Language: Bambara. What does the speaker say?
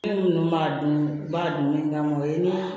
Ne ninnu b'a dun u b'a dun min kama o ye ni